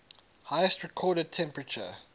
highest recorded temperature